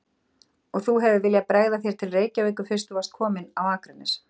Og þú hefur viljað bregða þér til Reykjavíkur fyrst þú varst kominn á Akranes?